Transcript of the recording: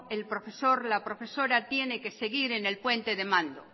el profesor la profesora tiene que seguir en el puente de mando